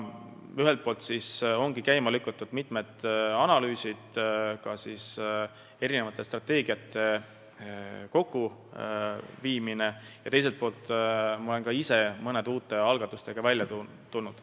Ühelt poolt ongi käima lükatud mitmed analüüsid ja erinevate strateegiate kokkuviimine, teiselt poolt olen ma ka ise mõne uue algatusega välja tulnud.